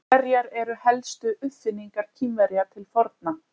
Hverjar eru helstu uppfinningar Kínverja til forna?